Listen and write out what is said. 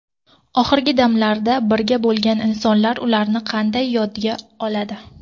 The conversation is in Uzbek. Oxirgi damlarda birga bo‘lgan insonlar ularni qanday yodga oladi?